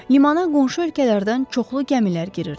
Limana qonşu ölkələrdən çoxlu gəmilər girirdi.